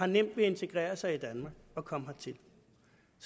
nemt ved at integrere sig i danmark at komme hertil